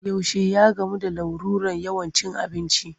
Yaushe ya gamu da larurar yawan cin abinci?